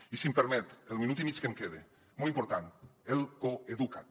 i si em permet en el minut i mig que em queda molt important el coeduca’t